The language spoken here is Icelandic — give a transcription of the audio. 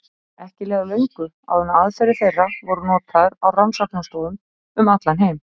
Ekki leið á löngu áður en aðferðir þeirra voru notaðar á rannsóknarstofum um allan heim.